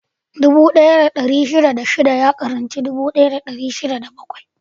Dubu ɗaya da ɗari shida da shida ya ƙaranci dubu ɗaya da dari shida da bakwai.